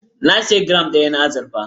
Na sayi giram ɗaya na azurfa.